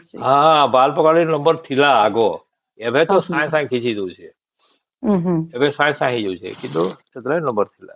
ହଁ ବାଳ ପକବାର ଲାଗି ନମ୍ବର ଥିଲା ଆଗ ଏବେ ତା ସଂଗେ ସଂଗେ ଖିଚି ଦଉଛେ ଏବେ ସଂଗେ ସଂଗେ ହେଇ ଯାଉଛେ କିନ୍ତୁ ସେତେବଳେ ନମ୍ବର ଥିଲା